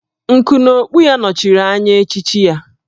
Nku n'okpu ya nọchiri anya echichi ya